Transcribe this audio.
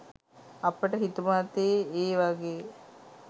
අපට හිතුමතේ ඒ වගේ